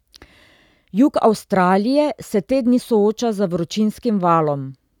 Jug Avstralije se te dni sooča z vročinskim valom.